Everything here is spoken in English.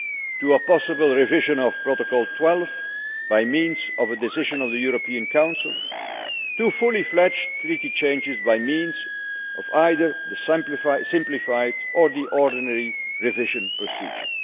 to a possible revision of Protocol 12 by means of a decision of the European Council, to fully fledged treaty changes by means of either the simplified or the ordinary revision procedure.